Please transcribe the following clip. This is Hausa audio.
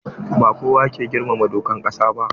Ba kowa yake girmama dokar ƙasa ba.